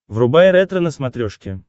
врубай ретро на смотрешке